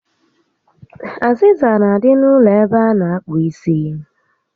Azịza n'adị n'ụlọ ebe a na akpụ isi